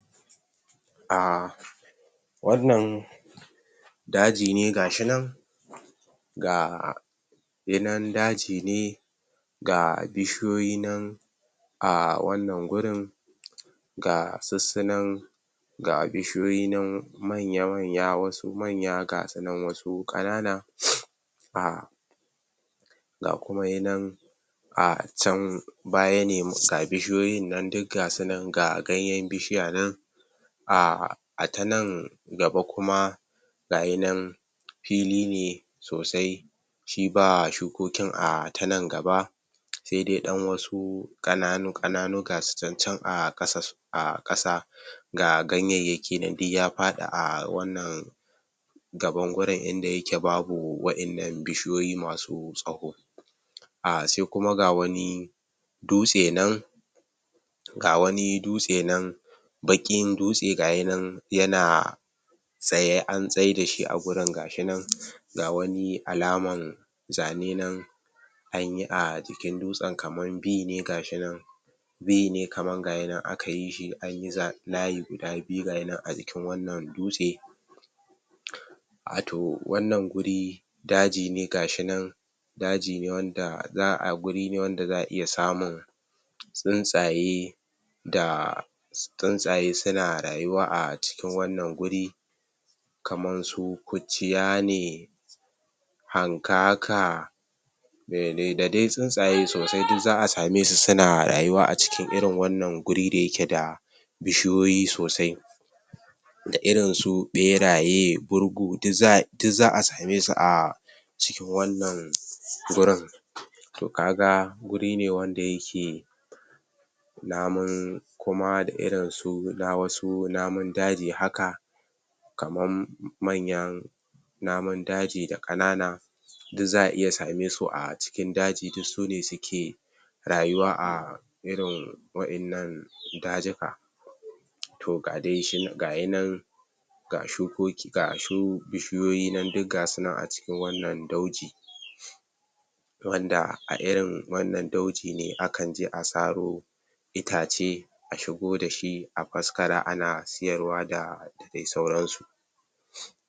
um wannan daji ne gashi nan ga yi nan daji ne ga bishiyoyi nan a wannan gurin ga sussunan ga bishyoyi nan manya manya wasu manya gasu nan wasu ƙanana um ga kuma yinan a can baya ne mus ga bishiyoyin nan duk ga sunan ga ganyen bishiya nan um a tanan gaba kuma gayi nan fili ne sosai shi ba shukokin a tanan gaba sai dai dan wasu ƙananu ƙananu ga su can can a ƙasa a ƙasa ga ganyeyeki nan duk ya faɗi a wannan gaban wurin inda yake babu waƴannan bishiyoyi masu tsawo a sai kuma ga wani dutse nan ga wani dutse nan baƙin dutse gayinan yana tsaye an tsai da shi a gurin ga shinan ga wani alaman zane nan anyi a ji kin dutsen kaman B ne gayi nan B ne kaman gashi nan akayi shi layi guda biyu ajikin wannan dutse wato wanna guri dajine gashi nan daji ne wanda za'a ga guri ne wanda za'a iya samu tsuntsaye da tsun tsaye suna rayuwa acikin wannan guri kaman su kurciyane hankaka mele da dai tsuntsaye sosai duk za'a same su suna rayuwa acikin irin wannan guri dayake da bishiyoyi sosai da irinsu ɓeraye burgu duk za duk za'a samesu a cikin wannan gurin to kaga guri ne wanda yake namun kuma da irinsu ga wasu namun daji haka kaman manyan namun daji da ƙanana duk za'a iya same su acikin daji duk sune suke rayuwa a irin waƴannan dajuka toh ga dai shi gayi nan ga shukoki ga shu bishiyoyi duk gasu nan acikin wannan dauji wanda a irin wannan dauji ne akanje a saro itace a shigo dashi afaskara ana siyarwa da dai sauran su